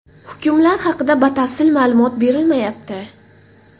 Hukmlar haqida batafsil ma’lumot berilmayapti.